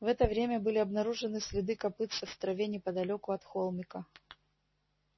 в это время были обнаружены следы копытцев в траве неподалёку от холмика